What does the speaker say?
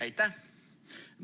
Aitäh!